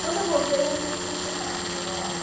Quando eu voltei, eu voltei para o pensionato onde eu morava.